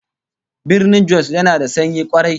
Birnin Jos yana da sanyi kwarai